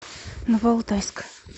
новоалтайск